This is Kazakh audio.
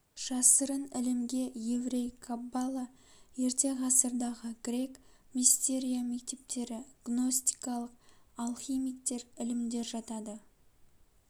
жасырын ілімге еврей каббала ерте ғасырдағы грек мистерия мектептері гностикалық алхимиктер ілімдер жатады